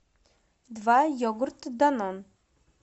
два йогурта данон